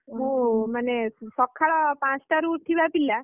ମୁଁ ମାନେ ସକାଳ ପାଞ୍ଚଟାରେ ଉଠିବା ପିଲା...